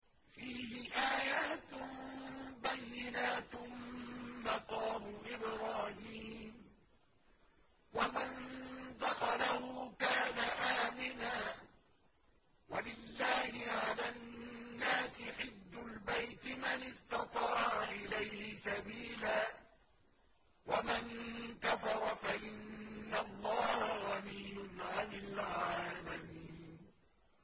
فِيهِ آيَاتٌ بَيِّنَاتٌ مَّقَامُ إِبْرَاهِيمَ ۖ وَمَن دَخَلَهُ كَانَ آمِنًا ۗ وَلِلَّهِ عَلَى النَّاسِ حِجُّ الْبَيْتِ مَنِ اسْتَطَاعَ إِلَيْهِ سَبِيلًا ۚ وَمَن كَفَرَ فَإِنَّ اللَّهَ غَنِيٌّ عَنِ الْعَالَمِينَ